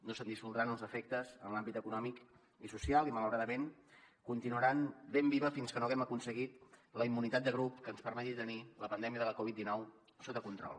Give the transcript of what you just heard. no se’n dissoldran els efectes en l’àmbit econòmic i social i malauradament continuarà ben viva fins que no hàgim aconseguit la immunitat de grup que ens permeti tenir la pandèmia de la covid dinou sota control